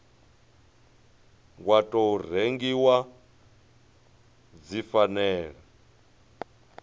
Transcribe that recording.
wa tou rengiwa dzi fanela